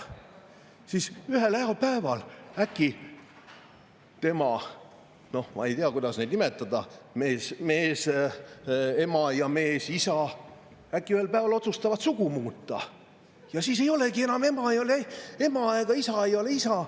Ja siis, ühel heal päeval äkki tema – ma ei tea, kuidas neid nimetada – mees-ema ja mees-isa otsustavad sugu muuta ning ema ei ole enam ema ja isa ei ole isa.